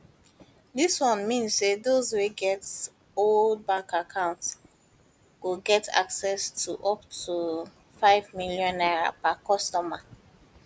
dis one mean say those wey get oda bank accounts go get access to up to n5 million per customer